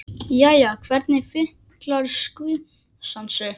Jæja, hvernig fílar skvísan sig?